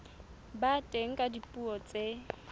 ba teng ka dipuo tse